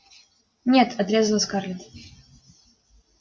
нет отрезала скарлетт